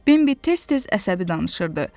Bembi tez-tez əsəbi danışırdı.